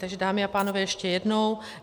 Takže dámy a pánové, ještě jednou.